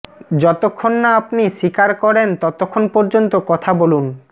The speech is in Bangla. যতক্ষণ না আপনি স্বীকার করেন ততক্ষণ পর্যন্ত কথা বলুন